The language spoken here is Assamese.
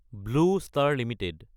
blue star Ltd